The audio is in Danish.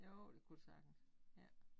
Jo det kunne det sagtens ja